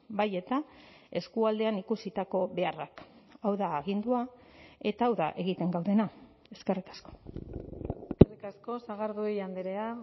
bai eta eskualdean ikusitako beharrak hau da agindua eta hau da egiten gaudena eskerrik asko eskerrik asko sagardui andrea